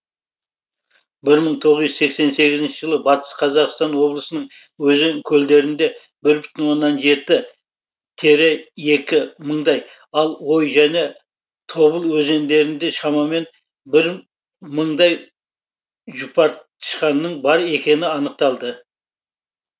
бір мың тоғыз жүз сексен сегізінші жылы батыс қазақстан облысының өзен көлдерінде бір бүтін оннан жеті тире екі мындай ал ой және тобыл өзендерінде шамамен бір мыңдай жұпартышқанның бар екендігі анықталды